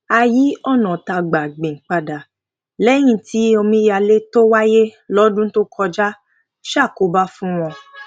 a yí ònà tá gbà gbìn padà léyìn tí omíyalé tó wáyé lódún tó kọjá ṣàkóbá fún wọn